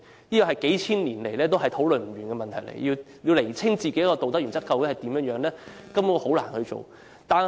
這是個數千年來討論不休的問題，要釐清自己的道德原則究竟如何，根本難以做到。